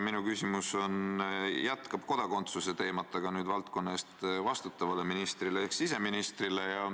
Minu küsimus jätkab kodakondsuse teemat, aga nüüd on see suunatud valdkonna eest vastutavale ministrile ehk siseministrile.